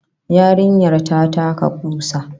Yarinyar ta taka kusa